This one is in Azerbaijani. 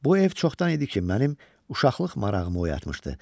Bu ev çoxdan idi ki, mənim uşaqlıq marağımı oyatmışdı.